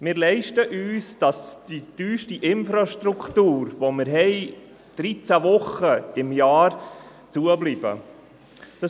Wir leisten uns, dass die teuerste Infrastruktur, die wir haben, dreizehn Wochen pro Jahr geschlossen ist.